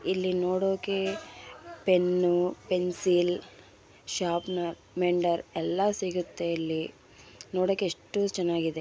ಇಲ್ಲಿ ನೋಡೋಕೆ pen pencil sharpener ಮೆಂಡರ್ ಎಲ್ಲಾ ಸಿಗುತ್ತೆ ಇಲ್ಲಿ ನೋಡೋಕೆ ಎಷ್ಟು ಚೆನ್ನಾಗಿದೆ.